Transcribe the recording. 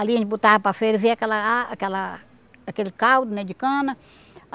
Ali a gente botava para a feira e vinha aquela aquela aquele caldo né de cana.